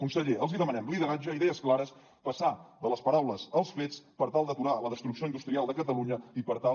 conseller els demanem lideratge idees clares passar de les paraules als fets per tal d’aturar la destrucció industrial de catalunya i per tal